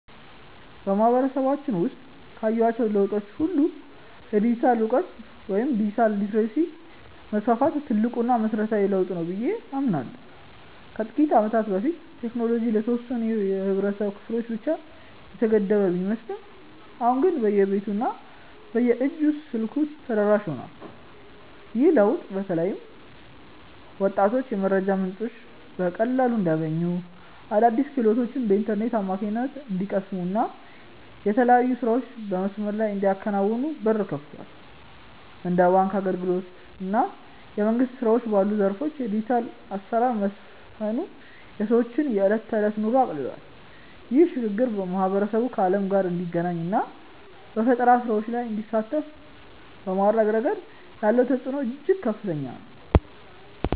በማህበረሰባችን ውስጥ ካየኋቸው ለውጦች ሁሉ የዲጂታል እውቀት ወይም ዲጂታል ሊተረሲ መስፋፋት ትልቁና መሰረታዊው ለውጥ ነው ብዬ አምናለሁ። ከጥቂት ዓመታት በፊት ቴክኖሎጂ ለተወሰኑ የህብረተሰብ ክፍሎች ብቻ የተገደበ ቢመስልም አሁን ግን በየቤቱ እና በየእጅ ስልኩ ተደራሽ ሆኗል። ይህ ለውጥ በተለይ ወጣቶች የመረጃ ምንጮችን በቀላሉ እንዲያገኙ፣ አዳዲስ ክህሎቶችን በኢንተርኔት አማካኝነት እንዲቀስሙ እና የተለያዩ ስራዎችን በመስመር ላይ እንዲያከናውኑ በር ከፍቷል። እንደ ባንክ አገልግሎት እና የመንግስት ስራዎች ባሉ ዘርፎች የዲጂታል አሰራር መስፈኑ የሰዎችን የዕለት ተዕለት ኑሮ አቅልሏል። ይህ ሽግግር ማህበረሰቡ ከዓለም ጋር እንዲገናኝ እና በፈጠራ ስራዎች ላይ እንዲሳተፍ በማድረግ ረገድ ያለው ተጽዕኖ እጅግ ከፍተኛ ነው።